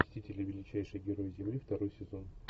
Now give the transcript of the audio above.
мстители величайшие герои земли второй сезон